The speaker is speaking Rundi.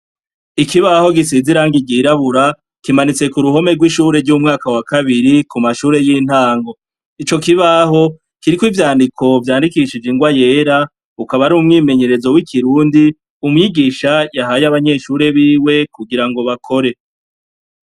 Ikibaho gisize irangi ryirabura kimanitse ku ruhome rw'ishure ry'umwaka wa kabiri ku mashure y'intango, ico kibaho kiriko ivyandiko vyandikishije ingwa yera, ukaba ari umwimenyerezo w'ikirundi umwigisha yahaye abanyeshure biwe kugira ngo bakore.